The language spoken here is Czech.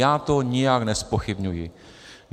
Já to nijak nezpochybňuji.